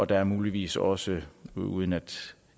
der er muligvis også uden at